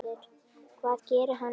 Hvað gerir hann í dag?